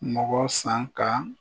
Mɔgɔ san ka